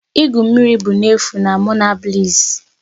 igwu mmiri bụ n'efu na Monabliss'